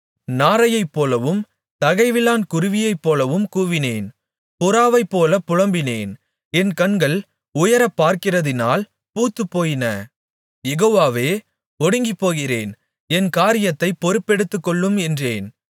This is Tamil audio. நாரையைப்போலவும் தகைவிலான் குருவியைப்போலவும் கூவினேன் புறாவைப்போல் புலம்பினேன் என் கண்கள் உயரப் பார்க்கிறதினால் பூத்துப்போயின யெகோவாவே ஒடுங்கிப்போகிறேன் என் காரியத்தை பொறுப்பெடுத்துக்கொள்ளும் என்றேன்